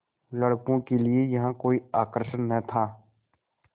लड़कों के लिए यहाँ कोई आकर्षण न था